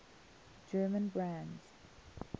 german brands